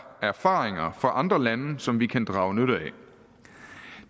erfaringer fra andre lande som vi kan drage nytte